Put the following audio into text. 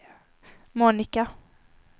Monica